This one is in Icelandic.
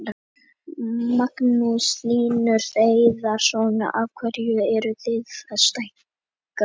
Magnús Hlynur Hreiðarsson: Af hverju eruð þið að stækka við hótelið?